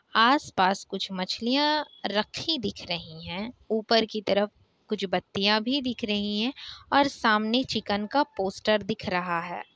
आस-पास कुछ मछलियाँ रखी दिख रही है। यह ऊपर की तरफ बत्तियाँ भी दिख रही है। और सामने चिकन का पोस्टर भी दिख रहा है।